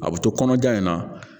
A bɛ to kɔnɔja in na